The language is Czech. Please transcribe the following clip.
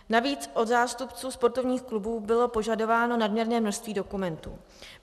Navíc od zástupců sportovních klubů bylo požadováno nadměrné množství dokumentů.